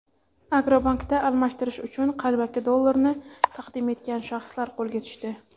"Agrobank"da almashtirish uchun qalbaki dollarni taqdim etgan shaxslar qo‘lga tushdi.